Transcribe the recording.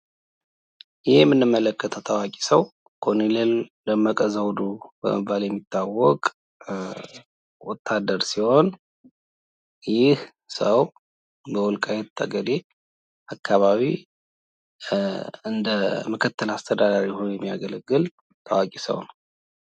ይህ በምስሉ ላይ የምንመለከተው ታዋቂ ሰው ኮሎኔል ደመቀ ዘውዱ በመባል የሚታወቅ ወታደር ሲሆን ፤ ይህ ሰው በወልቃይት ጠገዴ አካባቢ እንደ ምክትል አስተዳዳሪ ሆኖ የሚያገለግል ታዋቂ ሰው ነው።